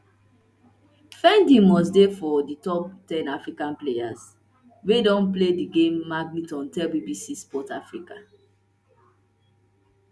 finidi must dey for di top ten african players wey don play di game magilton tell bbc sport africa